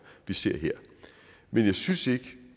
vi ser her men jeg synes ikke